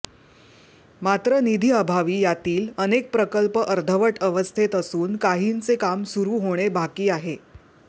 मात्र निधीअभावी यातील अनेक प्रकल्प अर्धवट अवस्थेत असून काहींचे काम सुरू होणे बाकी आहे